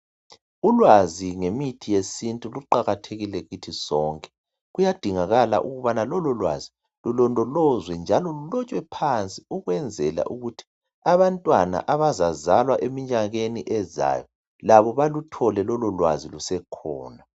Ulwazi ngemithi yesintu luqakathekile kithi sonke kuyadingakala ukubana lolo lwazi lulondolozwe njalo lulotshwe phansi ukwenzela ukuthi abantwana abazazalwa eminyakeni ezayo labo baluthole lololwazi lusekhona.